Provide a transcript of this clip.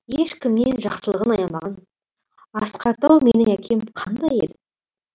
ешкімнен жақсылығын аямаған асқар тау менің әкем қандай еді